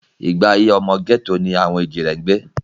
Ìgbé ayé ọmọ gẹ́tò ni àwọn èjìrẹ́ ń gbé